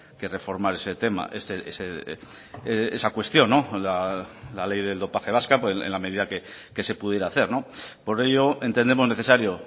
que reformar ese tema esa cuestión la ley del dopaje vasca en la medida que se pudiera hacer por ello entendemos necesario